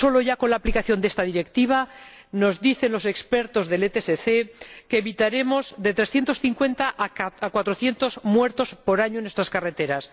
Solo ya con la aplicación de esta Directiva, nos dicen los expertos del ETSC que evitaremos de 350 a 400 muertes por año en nuestras carreteras.